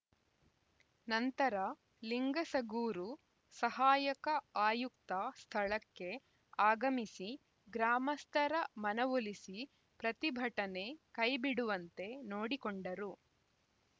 ನಂತರ ಲಿಂಗಸಗೂರು ಸಹಾಯಕ ಆಯುಕ್ತ ಸ್ಥಳಕ್ಕೆ ಆಗಮಿಸಿ ಗ್ರಾಮಸ್ಥರ ಮನವೊಲಿಸಿ ಪ್ರತಿಭಟನೆ ಕೈಬಿಡುವಂತೆ ನೋಡಿಕೊಂಡರು